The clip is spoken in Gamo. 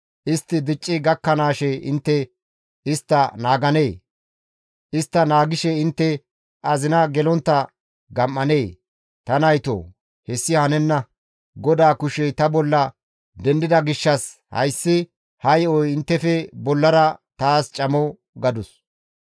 istti dicci gakkanaashe intte istta naaganee? Istta naagishe intte azina gelontta gam7anee? Ta naytoo, hessi hanenna; GODAA kushey ta bolla dendida gishshas hayssi ha yo7oy inttefe bollara taas camo» gadus.